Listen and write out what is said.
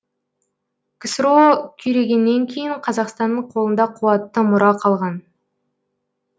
ксро күйрегеннен кейін қазақстанның қолында қуатты мұра қалған